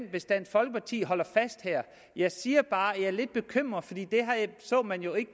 hvis dansk folkeparti holder fast her jeg siger bare at jeg er lidt bekymret for det så man jo ikke